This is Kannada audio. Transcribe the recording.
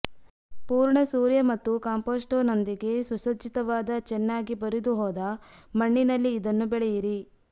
ಪೂರ್ಣ ಸೂರ್ಯ ಮತ್ತು ಕಾಂಪೊಸ್ಟ್ನೊಂದಿಗೆ ಸುಸಜ್ಜಿತವಾದ ಚೆನ್ನಾಗಿ ಬರಿದುಹೋದ ಮಣ್ಣಿನಲ್ಲಿ ಇದನ್ನು ಬೆಳೆಯಿರಿ